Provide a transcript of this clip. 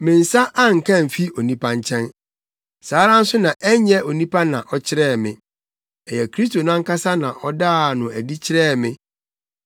Me nsa anka amfi onipa nkyɛn. Saa ara nso na ɛnyɛ onipa na ɔkyerɛɛ me. Ɛyɛ Kristo no ankasa na ɔdaa no adi kyerɛɛ me.